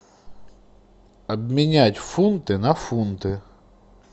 обменять фунты на фунты